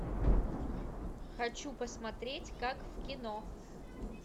хочу посмотреть как в кино